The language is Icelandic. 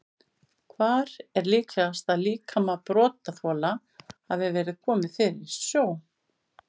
Hvar er líklegast að líkama brotaþola hafi verið komið fyrir í sjó?